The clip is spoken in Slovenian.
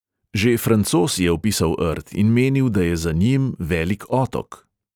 Že francoz je opisal rt in menil, da je za njim velik otok.